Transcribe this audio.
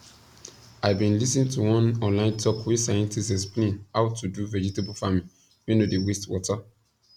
i bin lis ten to one online talk wey scientists explain how to do vegetable farming wey no dey waste water